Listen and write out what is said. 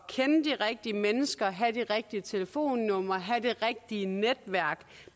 kende de rigtige mennesker at have de rigtige telefonnumre at have det rigtige netværk